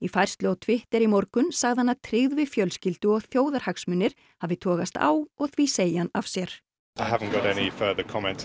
færslu á Twitter í morgun sagði hann að tryggð við fjölskyldu og þjóðarhagsmunir hafi togast á og því segi hann af sér